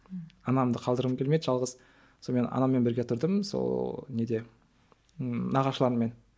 анамды қалдырғым келмеді жалғыз сонымен анаммен бірге тұрдым сол неде нағашыларыммен